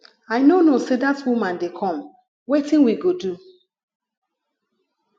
i no know say dat woman dey come wetin we go do